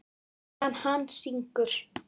Meðan hann syngur.